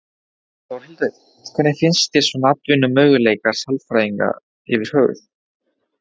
Þórhildur: Hvernig finnst þér svona atvinnumöguleikar sálfræðinga yfir höfuð?